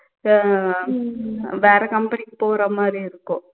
அஹ் வேற company க்கு போற மாதிரி இருக்கும்